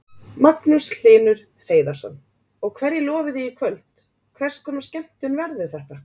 Magnús Hlynur Hreiðarsson: Og hverju lofið þið í kvöld, hvers konar skemmtun verður þetta?